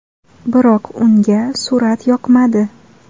Biroq unga surat yoqmadi.